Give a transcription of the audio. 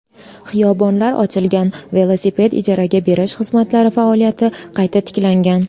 Xiyobonlar ochilgan, velosiped ijaraga berish xizmatlari faoliyati qayta tiklangan.